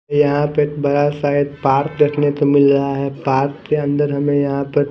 यहाँ पे एक बड़ा सा एक पार्क देखने मिल रहा है पार्क के अंदर हमे यहाँ पर--